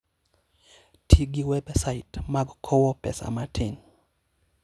Ti gi websait mag kowo pesa matin.